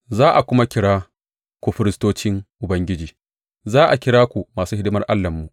Za a kuma kira ku firistocin Ubangiji, za a kira ku masu hidimar Allahnmu.